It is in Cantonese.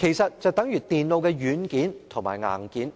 如電腦的軟件和硬件。